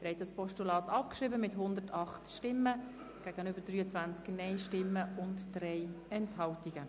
Sie haben das Postulat abgeschrieben mit 108 Ja- gegen 23 Nein-Stimmen bei 3 Enthaltungen.